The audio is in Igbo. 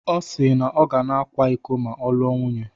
Ọ si na ọ ga-akwa iko ma ọ lụọ nwunye.